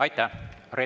Aitäh!